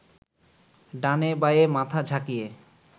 ডানে বায়ে মাথা ঝাঁকিয়ে